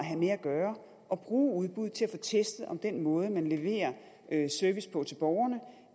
gøre at bruge udbud til at få testet om den måde man leverer service på til borgerne